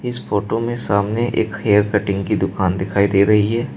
इस फोटो में सामने एक हेयर कटिंग की दुकान दिखाई दे रही है।